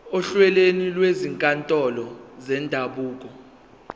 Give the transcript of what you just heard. ohlelweni lwezinkantolo zendabuko